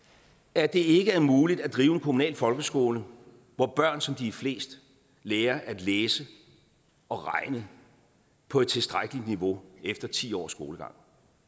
at det ikke er muligt at drive en kommunal folkeskole hvor børn som de er flest lærer at læse og regne på et tilstrækkeligt niveau efter ti års skolegang